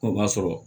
Ko b'a sɔrɔ